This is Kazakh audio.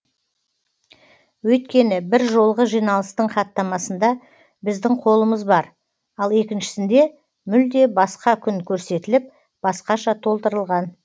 өйткені бір жолғы жиналыстың хаттамасында біздің қолымыз бар ал екіншісінде мүлде басқа күн көрсетіліп басқаша толтырған